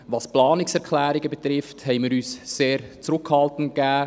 Was die Planungserklärungen betrifft, haben wir uns sehr zurückhaltend verhalten.